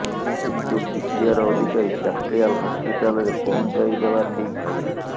କିନ୍ତୁ ପିସିଆର୍ ଅଧିକାରୀ କ୍ୟାପିଟାଲ ହସ୍ପିଟାଲରେ ପହଞ୍ଚାଇଦେବା ଠିକ୍ ଭାବିଲେ